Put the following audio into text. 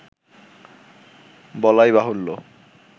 বলাইবাহুল্য